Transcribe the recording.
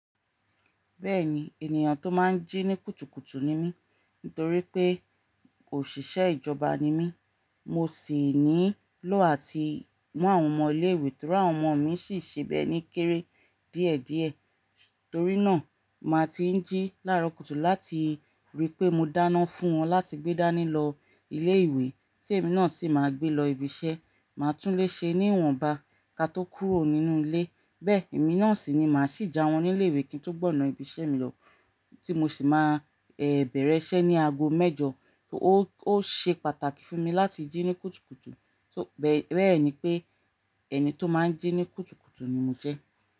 Bẹ́ẹ̀ni, ènìyàn tó máa ń jí ní kùtùkùtù ni mí nítorí pé òṣìṣẹ́ ìjọba ni mí, mo sì nílò láti mú àwọn ọmọ ilé ìwé tíra àwọn ọmọ mi sì ṣe bẹ́ẹ ní kéré díẹ̀díẹ̀. Torí náà, màá ti ń jí lára kùtù láti rí pé mo dáná fún wọn láti gbé dání lọ ilé ìwé tí èmi náà sì máa gbé lọ ibi iṣẹ́. Màá tún lé ṣe ní ìwọ̀nba ká tó kúrò nínú ilé. Bẹ́ẹ̀, èmi náà sì ni màá sì ja wọn ní ilé ìwé kí n tó gbọ̀nán ibi iṣẹ́ mi lọ tí mo sì máa bẹ̀rẹ̀ iṣẹ́ ní ago mẹ́jọ. Ó ṣe pàtàkì fún mi láti jí ní kùtùkùtù. Bẹ́ẹ̀ ni pé ẹni tó máa ń jí ní kùtùkùtù ni mo jẹ́